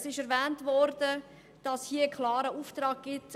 Es wurde erwähnt, dass es vom Parlament einen klaren Auftrag gibt.